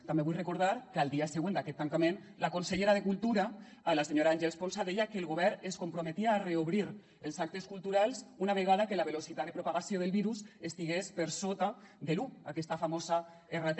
també vull recordar que al dia següent d’aquest tancament la consellera de cultura la senyora àngels ponsa deia que el govern es comprometia a reobrir els actes culturals una vegada que la velocitat de propagació del virus estigués per sota de l’un aquesta famosa rt